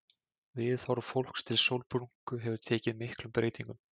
Viðhorf fólks til sólbrúnku hefur tekið miklum breytingum.